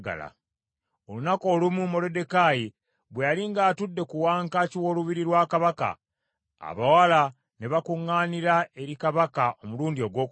Olunaku olumu Moluddekaayi bwe yali ng’atudde ku wankaaki w’olubiri lwa Kabaka, abawala ne bakuŋŋaanira eri Kabaka omulundi ogwokubiri.